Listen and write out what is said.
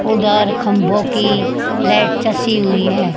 उधर खभों की लाइट चसी हुई है।